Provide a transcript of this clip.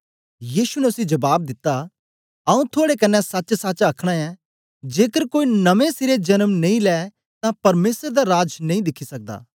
यीशु ने उसी जबाब दिता आऊँ थुआड़े कन्ने सचसच आखना ऐं जेकर कोई नमें सिरे जन्म नेई लै तां परमेसर दा राज नेई दिखी सकदा